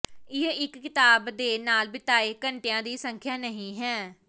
ਇਹ ਇੱਕ ਕਿਤਾਬ ਦੇ ਨਾਲ ਬਿਤਾਏ ਘੰਟਿਆਂ ਦੀ ਸੰਖਿਆ ਨਹੀਂ ਹੈ